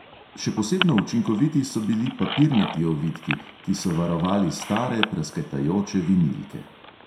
Še posebno učinkoviti so bili papirnati ovitki, ki so varovali stare, prasketajoče vinilke.